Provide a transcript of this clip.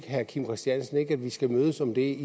herre kim christiansen ikke at vi skal mødes om det